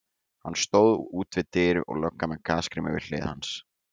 Hann stóð út við dyr og löggan með gasgrímuna við hlið hans.